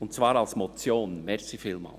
Und zwar als Motion, vielen Dank.